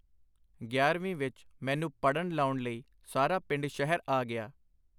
ਗਿਆਰਵੀਂ ਵਿੱਚ ਮੈਨੂੰ ਪੜਨ ਲਾਉਣ ਲਈ ਸਾਡਾ ਪਰਿਵਾਰ ਸ਼ਹਿਰ ਆ ਗਿਆ .